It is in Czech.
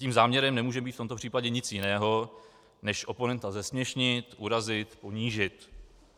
Tím záměrem nemůže být v tomto případě nic jiného než oponenta zesměšnit, urazit, ublížit.